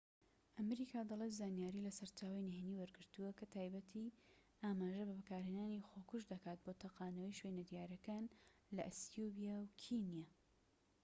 ئەمریکا دەڵێت زانیاری لە سەرچاوەی نهێنی وەرگرتووە کە بە تایبەتی ئاماژە بە بەکارهێنانی خۆکوژ دەکات بۆ تەقاندنەوەی شوێنە دیارەکان لە ئەسیوبیا و کینیا